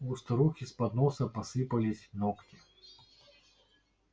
у старухи с подноса посыпались ногти